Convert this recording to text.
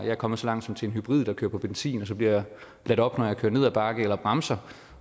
er kommet så langt som til en hybridbil der kører på benzin og så bliver ladet op når jeg kører ned ad bakke eller bremser